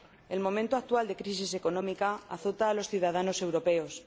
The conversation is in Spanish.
El momento actual de crisis económica azota a los ciudadanos europeos.